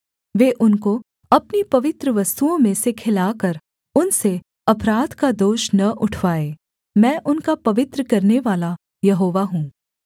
वे उनको अपनी पवित्र वस्तुओं में से खिलाकर उनसे अपराध का दोष न उठवाएँ मैं उनका पवित्र करनेवाला यहोवा हूँ